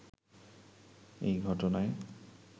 এই ঘটনায়